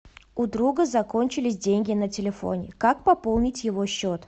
у друга закончились деньги на телефоне как пополнить его счет